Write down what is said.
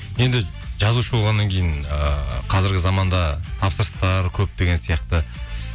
енді жазушы болғаннан кейін ыыы қазіргі заманда тапсырыстар көп деген сияқты